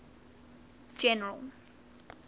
general